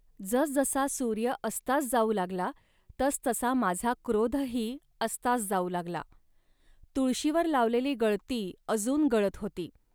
जसजसा सूर्य अस्तास जाऊ लागला, तसतसा माझा क्रोधही अस्तास जाऊ लागला. तुळशीवर लावलेली गळती अजून गळत होती